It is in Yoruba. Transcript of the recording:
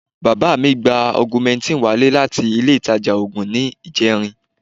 Bàbá mi gba augmentin wálé láti ile ìtajà oògùn ní ìjẹrin